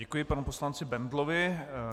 Děkuji panu poslanci Bendlovi.